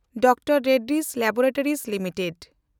Dr Reddy's Laboratories limited